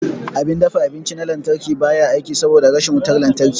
Abin dafa abinci na lantarki ba ya aiki saboda rashin wutar lantarki.